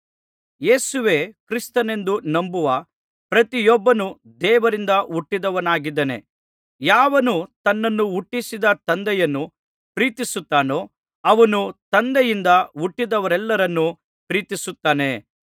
ಯೇಸುವೇ ಕ್ರಿಸ್ತನೆಂದು ನಂಬುವ ಪ್ರತಿಯೊಬ್ಬನೂ ದೇವರಿಂದ ಹುಟ್ಟಿದವನಾಗಿದ್ದಾನೆ ಯಾವನು ತನ್ನನ್ನು ಹುಟ್ಟಿಸಿದ ತಂದೆಯನ್ನು ಪ್ರೀತಿಸುತ್ತಾನೋ ಅವನು ತಂದೆಯಿಂದ ಹುಟ್ಟಿದವರೆಲ್ಲರನ್ನೂ ಪ್ರೀತಿಸುತ್ತಾನೆ